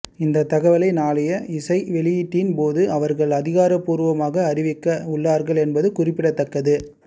இந்த தகவலை நாளைய இசை வெளியீட்டின் போது அவர்கள் அதிகாரபூர்வமாக அறிவிக்க உள்ளார்கள் என்பது குறிப்பிடத்தக்கது